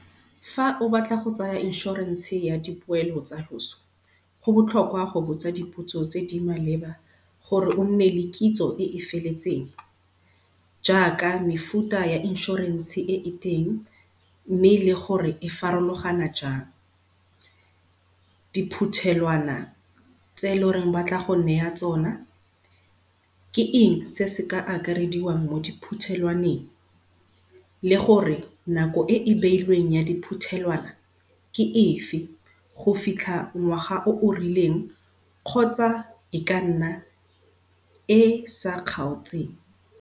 Fa o batla go tsaya inshorense ya dipoelo tsa loso, go botlhokwa go botsa dipotso tse di maleba gore o nne le kitso e e feletseng, jaaka mefuta ya inshorense e e teng mme le gore e e farologana jang. Diphuthelwana tse ba tla go neya tsona, ke eng se se ka akarediwang mo di phuthelwaneng le gore nako e e beilweng ya di phuthelwana ke efe go fitlha ngwaga o o rileng kgotsa e ka nna e sa kgaotseng.